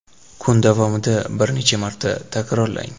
Kun davomida bir necha marta takrorlang.